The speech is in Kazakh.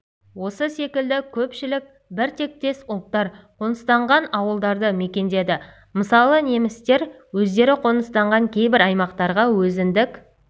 осы секілді көпшілік бір тектес ұлттар қоныстанған ауылдарды мекендеді мысалы немістер өздері қоныстанған кейбір аймақтарға өзіндік